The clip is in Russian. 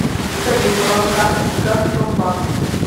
салют баланс карты газпромбанк